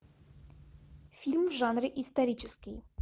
фильм в жанре исторический